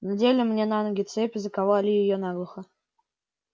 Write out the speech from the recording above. надели мне на ноги цепь и заковали её наглухо